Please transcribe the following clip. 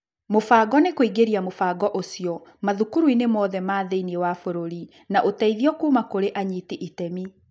Mũbango nĩ kũingĩria mũbango ũcio mathukuruinĩ mothe ma thĩiniĩ wa bũrũri, na ũteithio kuuma kũrĩ anyiti itemi,